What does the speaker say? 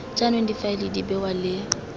jaanong difaele di bewa le